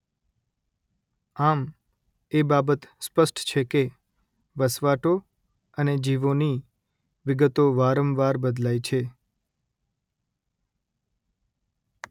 આમ એ બાબત સ્પષ્ટ છે કે વસવાટો અને જીવોની વિગતો વારંવાર બદલાય છે